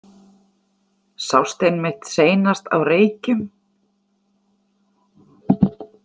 Sást einmitt seinast á Reykjum.